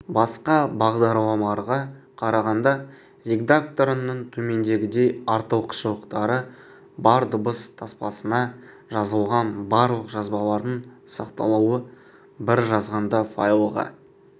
басқа бағдарламаларға қарағанда редакторының төмендегідей артықшылықтары бар дыбыс таспасына жазылған барлық жазбалардың сақталуы бір жазғанда файлға